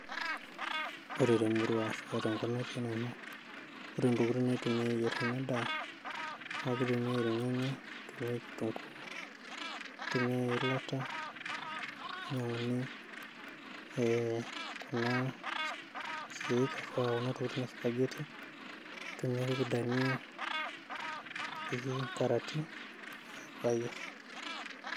Ore temurua ashu tenkop natii Nanu ore Intokitin naitumiai ayierr ena ndaa naa keitumiai irnyanya, keitumiai kitunguu keitumiai eilata ninyianguni Kuna kiek ashu Kuna tokitin naaji supageti, nepiki endania nepiki engarati ayierrr.